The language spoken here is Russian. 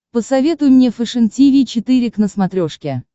посоветуй мне фэшен тиви четыре к на смотрешке